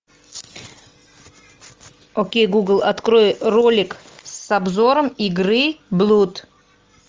окей гугл открой ролик с обзором игры блуд